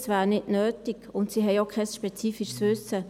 Das wäre nicht nötig, und sie haben auch kein spezifisches Wissen.